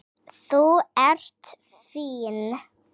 Þú ert fín.